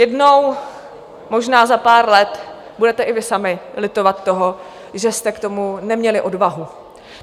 Jednou, možná za pár let, budete i vy sami litovat toho, že jste k tomu neměli odvahu.